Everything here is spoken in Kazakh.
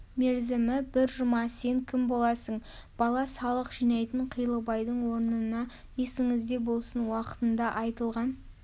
мерзімі бір жұма сен кім боласың бала салық жинайтын қилыбайдың орнына есіңізде болсын уақытыңда айтылған